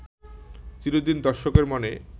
চিরদিন দর্শকের মনে